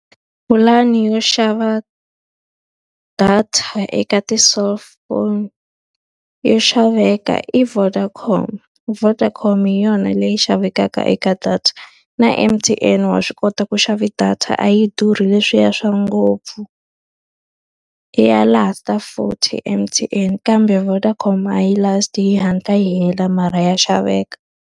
Pulani yo xava data eka ti-cellphone yo xaveka i Vodacom. Vodacom hi yona leyi xavekaka eka data. Na M_T_N wa swi kota ku xava data a yi durhi leswiya swa ngopfu. Ya last-a futhi M_T_M kambe Vodacom a yi last-i, yi hatla yi hela mara ya xaveka.